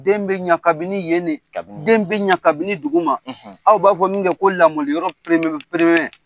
Den bɛ ɲa kabini yen de, den bɛ ɲa kabini duguma aw b'a fɔ min kɛ ko lamɔli yɔrɔ